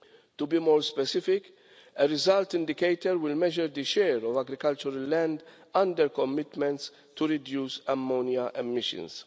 To be more specific, a result indicator will measure the share of agricultural land under commitments to reduce ammonia emissions.